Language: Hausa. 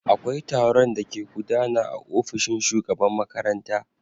Akwai taron da ke gudana aofishin shugaban makaranta.